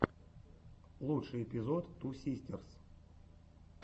лучший эпизод ту систерс